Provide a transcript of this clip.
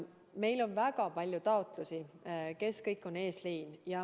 Meil on väga palju taotlusi, kes kõik on eesliin.